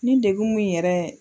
Ne degun mun yɛrɛ